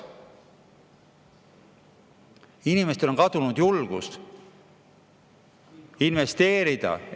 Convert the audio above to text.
Inimestel on kadunud julgus investeerida.